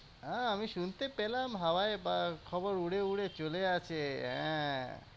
হ্যাঁ আমি শুনতে পেলাম হাওয়ায় বা খবর উড়ে উড়ে চলে আসে হ্যাঁ।